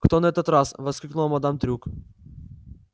кто на этот раз воскликнула мадам трюк